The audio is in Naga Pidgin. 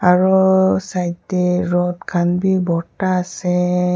aru side te rot khan bhi borta ase.